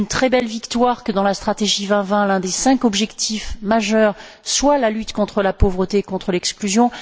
C'est une très belle victoire que, dans la stratégie Europe 2020, l'un des cinq objectifs majeurs soit la lutte contre la pauvreté et contre l'exclusion.